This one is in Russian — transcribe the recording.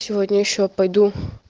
сегодня ещё пойду